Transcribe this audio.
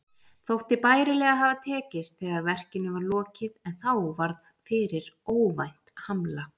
Þótti bærilega hafa tekist þegar verkinu var lokið, en þá varð fyrir óvænt hamla.